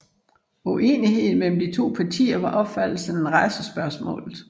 Uenigheden mellem de to partier var opfattelsen af racespørgsmålet